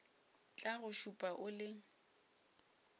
tla go šupa o le